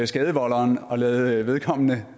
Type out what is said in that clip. skadevolderen og lade vedkommende